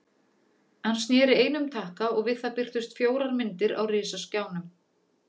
Hann sneri einum takka og við það birtust fjórar myndir á risaskjánum.